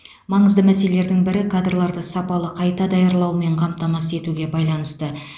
маңызды мәселелердің бірі кадрларды сапалы қайта даярлаумен қамтамасыз етуге байланысты